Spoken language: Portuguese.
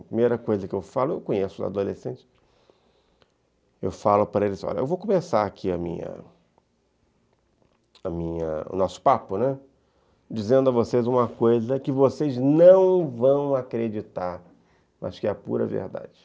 A primeira coisa que eu falo, eu conheço os adolescentes, eu falo para eles, olha, eu vou começar aqui a minha a minha, o nosso papo, né, dizendo a vocês uma coisa que vocês não vão acreditar, mas que é a pura verdade.